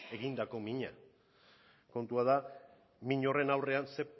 egindako mina kontua da min horren aurrean ze